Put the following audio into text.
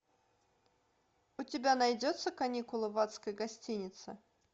у тебя найдется каникулы в адской гостинице